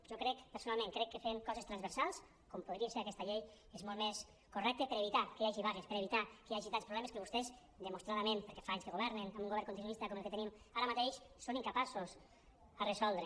jo crec personalment que fer coses transversals com podria ser aquesta llei és molt més correcte per a evitar que hi hagi vagues per a evitar que hi hagi tants problemes que vostès demostradament perquè fa anys que governen amb un govern continuista com el que tenim ara mateix són incapaços de resoldre